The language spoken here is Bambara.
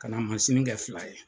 Kana mansini kɛ fila ye.